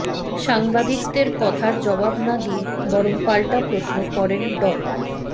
সাংবাদিকদের কথার জবাব না দিয়ে বরং পাল্টা প্রশ্ন করেন ড